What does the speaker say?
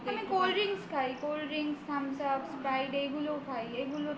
আমি cold drinks খাই cold drinks thumbs up sprite এগুলো খাই